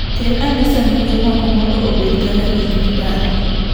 Kel ane sanduge moko mondo obed kaka gik miparo.